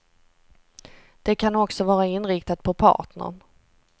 Det kan också vara inriktat på partnern.